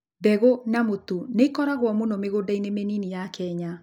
Mbegũ na mũtu nĩ ikũragwo mũno mĩgũnda-inĩ mĩnini ya Kenya.